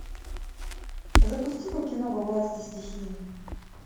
запусти ка кино во власти стихии